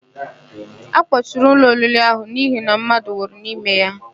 A kpọchiri ụlọ oriri ahụ n'ihi na mmadụ nwụrụ n'ime ya.